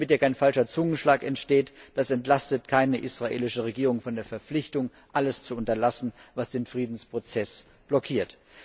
Damit hier kein falscher Zungenschlag entsteht Das entlastet keine israelische Regierung von der Verpflichtung, alles zu unterlassen, was den Friedensprozess blockiert.